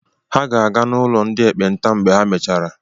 Ha ga-aga n'ụlọ ndị ekpenta mgbe ha mèchàrà.